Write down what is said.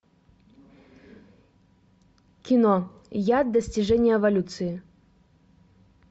кино я достижение эволюции